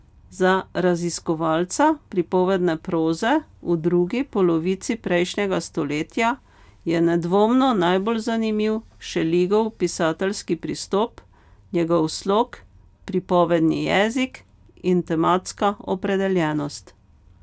Za raziskovalca pripovedne proze v drugi polovici prejšnjega stoletja je nedvomno najbolj zanimiv Šeligov pisateljski pristop, njegov slog, pripovedni jezik in tematska opredeljenost.